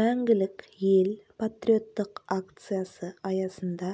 мәңгілік ел патриоттық акциясы аясында